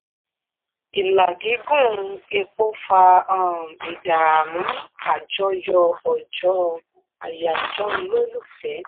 ìlà gígùn epo fa um ìdààmú àjọyọ̀ ọjọ́ àyájọ́ olólùfẹ́.